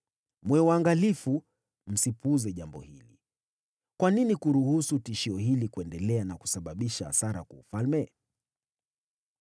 Mwe waangalifu msipuuze jambo hili. Kwa nini kuruhusu tishio hili kuendelea na kusababisha hasara kwa ufalme?